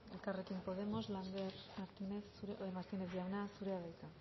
elkarrekin podemos lander martínez jauna zurea da hitza